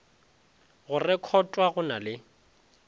go rekhotwa go na le